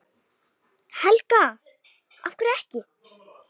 Helga: Af hverju ekki?